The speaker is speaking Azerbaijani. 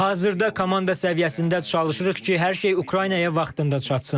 Hazırda komanda səviyyəsində çalışırıq ki, hər şey Ukraynaya vaxtında çatsın.